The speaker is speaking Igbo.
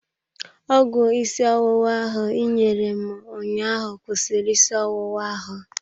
Ọgwụ isi ọwụwa ahụ ị nyere m ụnyaahụ kwụsịrị isi ọwụwa ahụ.